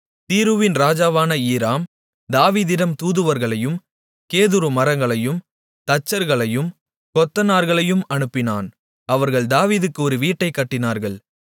தீருவின் ராஜாவான ஈராம் தாவீதிடம் தூதுவர்களையும் கேதுரு மரங்களையும் தச்சர்களையும் கொத்தனார்களையும் அனுப்பினான் அவர்கள் தாவீதுக்கு ஒரு வீட்டைக் கட்டினார்கள்